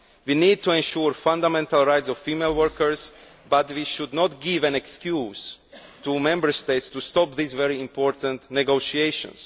We need to ensure the fundamental rights of female workers, but we should not give an excuse to Member States to stop these very important negotiations.